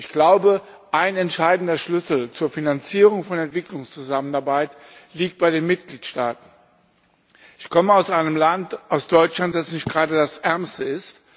Ich glaube, ein entscheidender Schlüssel zur Finanzierung von Entwicklungszusammenarbeit liegt bei den Mitgliedstaaten. Ich komme aus einem Land, aus Deutschland, das nicht gerade das ärmste ist.